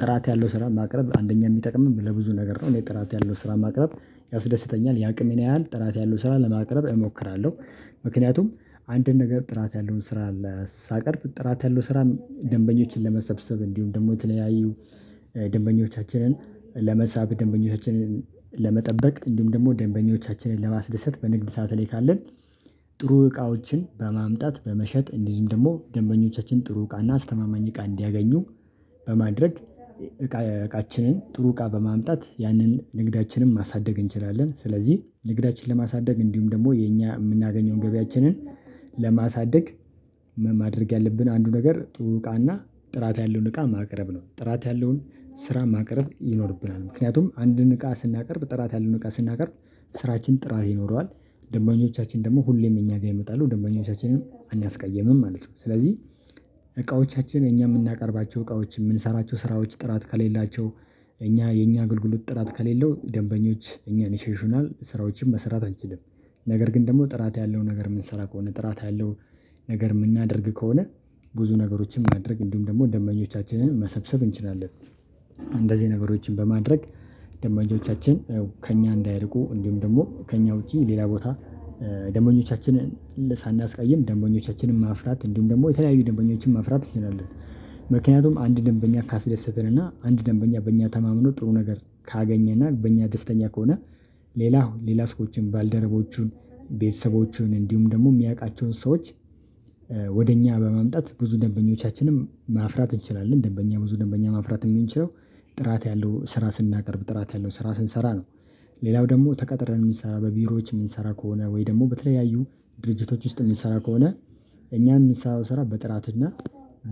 ጥራት ያለው ስራ ማቅረብ አንደኛ የሚጠቅመው ለብዙ ነገር ነው። እኔ ጥራት ያለው ስራ ማቅረብ ያስደስተኛል የአቅሜን ያህል ጥራት ያለው ስራ ለማቅረብ እሞክራለሁ ምክንያቱም አንድን ነገር ጥራት ያለውን ስራ አለ ሳቀርብ ጥራት ያለው ስራ ደንበኞችን ለመሰብሰብ እንዲሁም ደግሞ የተለያዩ ደንበኞቻችንን ለመሳብ ደንበኞችን ለመጠበቅ እንዲሁም ደግሞ ደንበኞቻችንን ለማስደሰት በንግድ ሰዓት ላይ ካለን ጥሩ እቃዎችን በማምጣት በመሸጥ እንደዚሁም ደግሞ ደንበኞቻችን ጥሩ እቃና አስተማማኝ እቃ እንዲያገኙ በማድረግ እቃ እቃችንን ጥሩ እቃ በማምጣት ያንን ንግዳችንን ማሳደግ እንችላለን ስለዚህ ንግዳችንን ለማሳደግ እንዲሁም ደግሞ የኛ የምናገኘው ገቢያችንን ለማሳደግ ማድረግ ያለብን አንዱ ነገር ጥሩ እቃና ጥራት ያለውን እቃ ማቅረብ ነው ጥራት ያለውን ስራ ማቅረብ ይኖርብናል ምክንያቱም አንድን እቃ ስናቀርብ ጥራት ያለውን እቃ ስናቀርብ ስራችን ጥራት ይኖረዋል ደንበኞቻችን ደግሞ ሁሌም እኛ ጋር ይመጣሉ ደንበኞቻችንም አናስቀይምም ማለት ነው ስለዚህ እቃዎቻችን እኛ የምናቀርባቸው እቃዎች የምንሰራቸው ስራዎች ጥራት ከሌላቸው እኛ የኛ አገልግሎት ጥራት ከሌለው ደንበኞች እኛን ይሼሹናል ስራዎችን መስራት አንችልም ነገር ግን ደግሞ ጥራት ያለው ነገር የምንሰራ ከሆነ ጥራት ያለው ነገር የምናደርግ ከሆነ ብዙ ነገሮችን ማድረግ እንዲሁም ደግሞ ደንበኞቻችንን መሰብሰብ እንችላለን እንደዚህ ነገሮችን በማድረግ ደንበኞቻችን ከእኛ እንዳይርቁ እንዲሁም ደግሞ ከእኛ ውጪ ሌላ ቦታ ደንበኞቻችንን ሳናስቀይም ደንበኞቻችንን ማፍራት እንዲሁም ደግሞ የተለያዩ ደንበኞችን ማፍራት እንችላለን፤ ምክንያቱም አንድ ደንበኛ ካስደሰትን እና አንድ ደንበኛ በእኛ ተማምኖ ጥሩ ነገር ካገኘና በእኛ ደስተኛ ከሆነ ሌላ ሌላ ሰዎችን ባልደረቦቹን ቤተሰቦቹን እንዲሁም ደግሞ የሚያውቃቸውን ሰዎች ወደ እኛ በማምጣት ብዙ ደንበኞቻችንም ማፍራት እንችላለን ደንበኛ ብዙ ደንበኛ ማፍራት የምንችለው ጥራት ያለው ስራ ስናቀርብ ጥራት ያለው ስራ ስንሰራ ነው ሌላው ደግሞ ተቀጥረን የምንሰራ በቢሮዎች የምንሰራ ከሆነ ወይ ደግሞ በተለያዩ ድርጅቶች ውስጥ የምንሰራ ከሆነ እኛም የምንሰራው ስራ በጥራት እና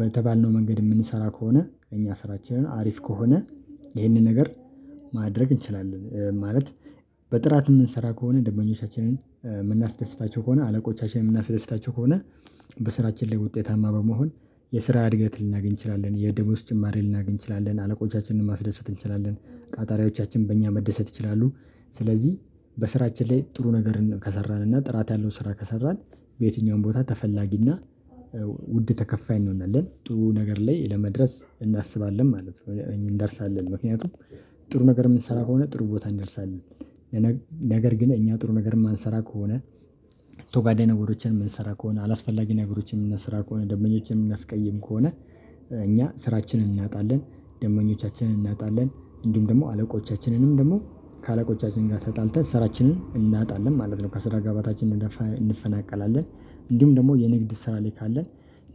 በተባልነው መንገድ የምንሰራ ከሆነ እኛ ስራችን አሪፍ ከሆነ ይህንን ነገር ማድረግ እንችላለን ማለት በጥራት የምንሰራ ከሆነ ደንበኞቻችንን የምናስደስታቸው ከሆነ አለቆቻችንን የምናስደስታቸው ከሆነ በስራችን ላይ ውጤታማ በመሆን የስራ እድገት ልናገኝ እንችላለን የደሞዝ ጭማሪ ልናገኝ እንችላለን አለቆቻችንን ማስደሰት እንችላለን ቀጣሪዎቻችን በእኛ መደሰት ይችላሉ ስለዚህ በስራችን ላይ ጥሩ ነገርን ከሰራን እና ጥራት ያለው ስራ ከሰራን በየትኛውም ቦታ ተፈላጊና ውድ ተከፋይ እንሆናለን ጥሩ ነገር ላይ ለመድረስ እናስባለን ማለት ነው እንደርሳለን ምክንያቱም ጥሩ ነገር የምንሰራ ከሆነ ጥሩ ቦታ እንደርሳለን ነገር ግን እኛ ጥሩ ነገር የማንሰራ ከሆነ ተጓዳኝ ነገሮችን የምንሰራ ከሆነ አላስፈላጊ ነገሮችን የምንሰራ ከሆነ ደንበኞችንም እምናስቀይም ከሆነ እኛ ስራችንን እናጣለን ደንበኞቻችንን እናጣለን እንዲሁም ደግሞ አለቆቻችንንም ደግሞ ከአለቆቻችን ጋር ተጣልተን ስራችንን እናጣለን ማለት ነው ከስራ ገበታችን እንፈናቀላለን እንዲሁም ደግሞ የንግድ ስራ ላይ ካለን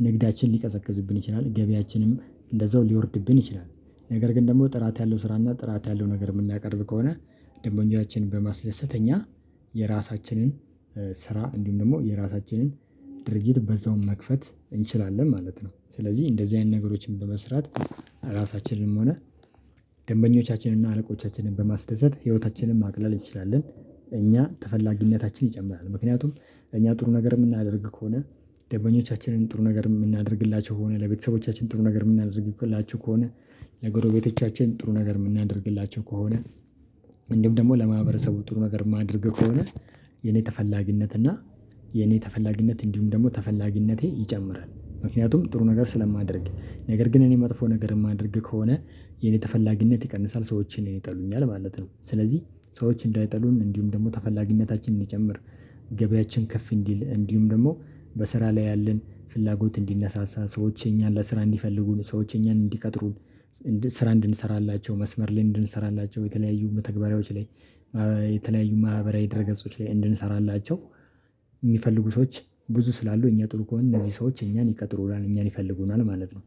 ንግዳችን ሊቀዘቅዝብን ይችላል ገቢያችንም እንደዛው ሊወርድብን ይችላል ነገር ግን ደግሞ ጥራት ያለው ስራና ጥራት ያለው ነገር የምናቀርብ ከሆነ ደንበኞችን በማስደሰት እኛ የራሳችንን ስራ እንዲሁም ደግሞ የራሳችንን ድርጊት በዛውም መክፈት እንችላለን ማለት ነው ስለዚህ እንደዚህ አይነት ነገሮችን በመስራት ራሳችንንም ሆነ ደንበኞቻችንን እና አረቆቻችንን በማስደሰት ህይወታችንን ማቅለል እንችላለን እኛ ተፈላጊነታችን ይጨምራል ምክንያቱም እኛ ጥሩ ነገር የምናደርግ ከሆነ ደንበኞቻችንን ጥሩ ነገር የምናደርግላቸው ከሆነ ለቤተሰቦቻችን ጥሩ ነገር የምናደርግላችው ከሆነ ለጎረቤቶቻችን ጥሩ ነገር የምናደርግላቸው ከሆነ እንዲሁም ደግሞ ለማህበረሰቡ ጥሩ ነገር የማደርግ ከሆነ የኔ ተፈላጊነት እና የኔ ተፈላጊነት እንዲሁም ደግሞ ተፈላጊነቴ ይጨምራል ምክንያቱም ጥሩ ነገር ስለማደርግ ነገር ግን እኔ መጥፎ ነገር የማደርግ ከሆነ የኔ ተፈላጊነት ይቀንሳል ሰዎች እኔን ይጠሉኛል ማለት ነው ስለዚህ ሰዎች እንዳይጠሉኝ እንዲሁም ደግሞ ተፈላጊነታችን እንዲጨምር ገበያችን ከፍ እንዲል እንዲሁም ደግሞ በስራ ላይ ያለን ፍላጎት እንዲነሳሳ ሰዎች እኛን ለስራ እንዲፈልጉን ሰዎች እኛን እንዲቀጥሩን ስራ እንድንሰራላቸው መስመር ላይ እንድንሰራላቸው የተለያዩ መተግባሪዎች ላይ የተለያዩ ማህበራዊ ድረገጾች ላይ እንድንሰራላቸው የሚፈልጉ ሰዎች ብዙ ስላሉ እኛ ጥሩ ከሆነ እነዚህ ሰዎች እኛን ይቀጥሩናል እኛን ይፈልጉናል ማለት ነው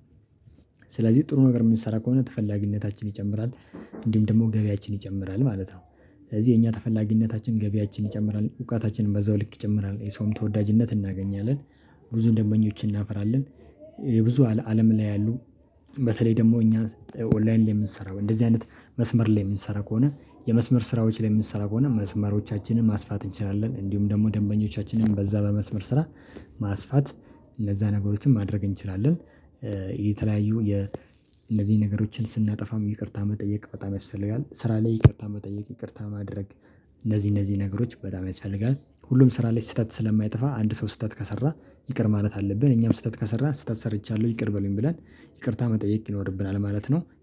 ስለዚህ ጥሩ ነገር የምንሰራ ከሆነ ተፈላጊነታችን ይጨምራል እንዲሁም ደግሞ ገበያችን ይጨምራል ማለት ነው ስለዚህ የኛ ተፈላጊነታችን ገበያችን ይጨምራል እውቀታችንም በዛው ልክ ይጨምራል የሰውም ተወዳጅነት እናገኛለን ብዙ ደንበኞችን እናፈራለን ብዙ አለም ላይ ያሉ በተለይ ደግሞ እኛ ኦንላይን የምንሰራው እንደዚህ አይነት መስመር ላይ የምንሰራ ከሆነ የመስመር ስራዎች የምንሰራ ከሆነ መስመሮቻችንን ማስፋት እንችላለን እንዲሁም ደግሞ ደንበኞቻችንን በዛ በመስመር ስራ ማስፋት እንደዛ አይነት ነገሮችን ማድረግ እንችላለን የተለያዩ እነዚህን ነገሮችን ስናጠፋም ይቅርታ መጠየቅ በጣም ያስፈልጋል ስራ ላይ ይቅርታ መጠየቅ ይቅርታ ማድረግ እነዚህ እነዚህ ነገሮች በጣም ያስፈልጋል ሁሉም ስራ ላይ ስህተት ስለማይጠፋ አንድ ሰው ስህተት ከሰራ ይቅር ማለት አለብን እኛም ስህተት ከሰራ ስህተት ሰርቻለሁ ይቅር በሉኝ ብለን ይቅርታ መጠየቅ ይኖርብናል ማለት ነው።